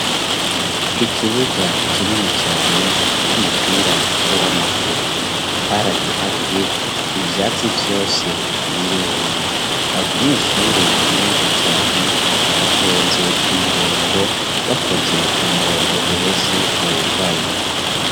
Ikibuga, kinini cane, c'umupira w'amaguru; baragiharuye, ivyatsi vyose, birumye; abanyeshure, benshi cane, batonze ku murongo, bakoze umurongo, uhese wugaye.